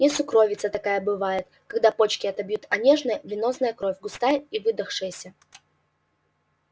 ну сукровица такая бывает когда почки отобьют а нежная венозная кровь густая и выдохшаяся